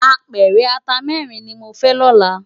Ápèrè àtá mèrin ni mó fè lòlá